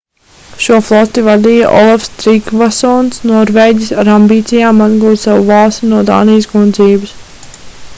šo floti vadīja olafs trigvasons norvēģis ar ambīcijām atgūt savu valsti no dānijas kundzības